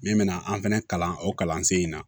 Min bɛna an fɛnɛ kalan o kalansen in na